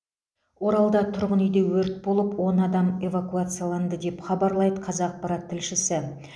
оралда тұрғын үйде өрт болып он адам эвакуацияланды деп хабарлайды қазақпарат тілшісі